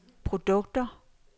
produkter